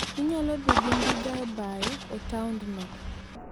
Inyalo dhi gi ndiga e bayo e taondno.